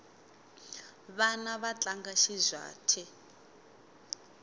vana va tlanga xizwhate